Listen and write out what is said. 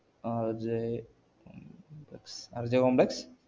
RJ RJcomplex